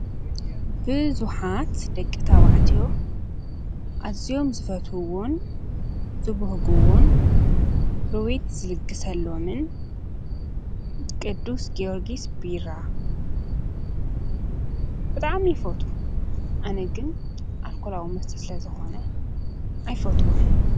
ብዙኃት ደቂ ታዋዕቴዮ ኣዚዮም ዝፈትውን ዝቡህጉውን ሩዊት ዝልግሰሎምን ቅዱስ ገርጊስ ቢራ ብጣዕሙ ይፈቱ ኣነግን ኣልኮላዊ መስተስለ ዝኾነ ኣይፈትዎን።